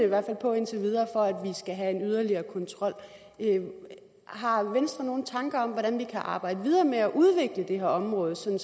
hvert fald på indtil videre for at vi skal have en yderligere kontrol har venstre så nogle tanker om hvordan vi kan arbejde videre med at udvikle det her område sådan